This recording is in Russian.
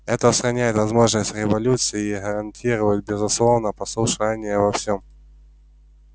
это устраняет возможность революций и гарантирует безусловное послушание во всем